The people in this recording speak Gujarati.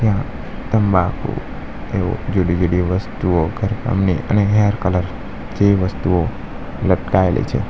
અહ તમ્બાકુ એવો જુદી-જુદી વસ્તુઓ ઘર કામની અને હેર કલર જેવી વસ્તુઓ લટકાયેલી છે.